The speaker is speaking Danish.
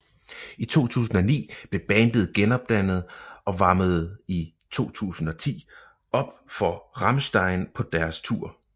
I 2009 blev bandet gendannet og varmede i 2010 op for Rammstein på deres tour